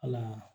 Ala